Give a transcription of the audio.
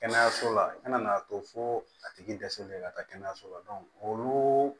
Kɛnɛyaso la i kana n'a to fo a tigi dɛsɛlen ka taa kɛnɛyaso la olu